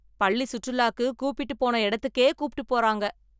பள்ளிசுற்றுலாக்கு கூப்பிட்டு போன எடத்துக்கே கூப்ட்டு போறாங்க.